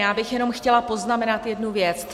Já bych jenom chtěla poznamenat jednu věc.